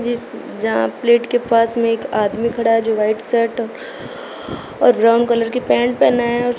इस जहां प्लेट के पास में एक आदमी खड़ा है जो व्हाइट शर्ट और ब्राउन कलर का पैन्ट पहना है।